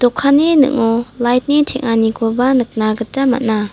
dokanni ning·o lait ni teng·anikoba nikna gita man·a.